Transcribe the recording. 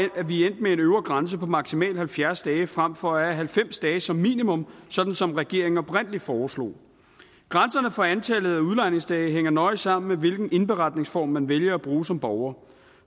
vi er med en øvre grænse på maksimalt halvfjerds dage frem for at have halvfems dage som minimum sådan som regeringen oprindelig foreslog grænserne for antallet af udlejningsdage hænger nøje sammen med hvilken indberetningsform man vælger at bruge som borger